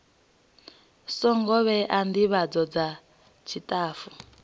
songo vhewa ndivhadzo dza tshitafu